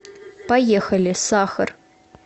поехали сахар